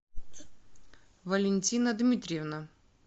валентина дмитриевна